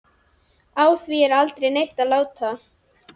Á því er aldrei neitt lát.